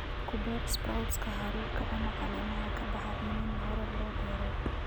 Ku beer sprouts haruurka ama caleemaha ka baxa iniin hore loo beeray.